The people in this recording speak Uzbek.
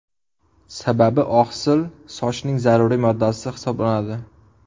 Sababi, oqsil sochning zaruriy moddasi hisoblanadi.